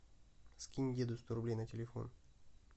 скинь деду сто рублей на телефон